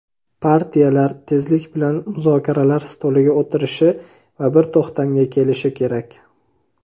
Partiyalar tezlik bilan muzokaralar stoliga o‘tirishi va bir to‘xtamga kelishi kerak.